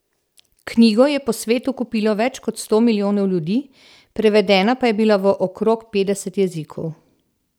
Knjigo je po svetu kupilo več kot sto milijonov ljudi, prevedena pa je bila v okrog petdeset jezikov.